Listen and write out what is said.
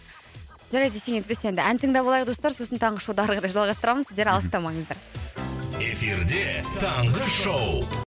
жарайды ештеңе етпес енді ән тыңдап алайық достар сосын таңғы шоуды әрі қарай жалғастырамыз мхм сіздер алыстамаңыздар эфирде таңғы шоу